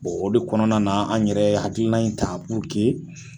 o do kɔnɔna na an yɛrɛ hakilina in ta buruke